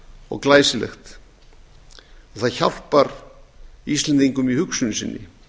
og glæsilegt og það hjálpar íslendingum í hugsun sinni